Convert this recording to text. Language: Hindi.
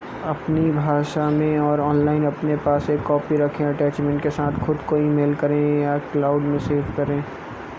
अपनी भाषा में और ऑनलाइन अपने पास एक कॉपी रखें अटैचमेंट के साथ खुद को ई-मेल करें या क्लाउड” में सेव करें